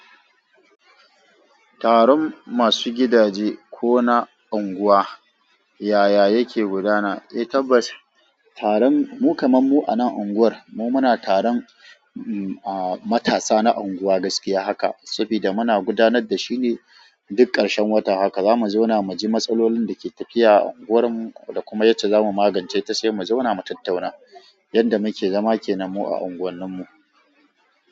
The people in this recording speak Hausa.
Taron masu gidaje ko na unguwa yaya yake gudana? Eh tabbas, taron mu kaman mu a nan unguwar mu muna taron matasa na unguwa gaskiya haka saboda muna gudanar da shi ne duk ƙarshen wata. Haka zamu zauna muji matsalolin da ke tafiya a unguwarmu da kuma yacce zamu magance ta sai mu zauna mu tattauna yanda muke zama ke nan mu a unguwanni mu.